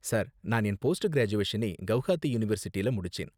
Sir, நான் என் post கிராஜுவேஷனை கவுஹாத்தி யூனிவெர்சிட்டியில முடிச்சேன்.